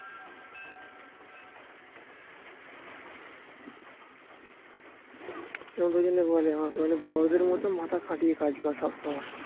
বলে আমাকে বলে বড়দের মতো মাথা খাটিয়ে কাজ কর সবসময়